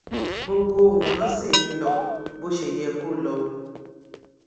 gbogbo nǹkan ṣì ń lọ bó ṣe yẹ kó lọ